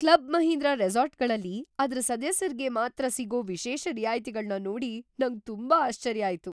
Club Mahindra ರೆಸಾರ್ಟ್‌ಗಳಲ್ಲಿ ಅದ್ರ ಸದಸ್ಯರ್ಗೆ ಮಾತ್ರ ಸಿಗೋ ವಿಶೇಷ ರಿಯಾಯ್ತಿಗಳ್ನ ನೋಡಿ ನಂಗ್ ತುಂಬಾ ಆಶ್ಚರ್ಯ ಆಯ್ತು.